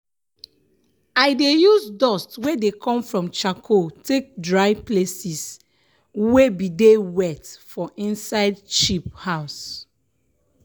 i dey use dust wey dey come from charcoal take dry places weybdey wet for inside sheep house.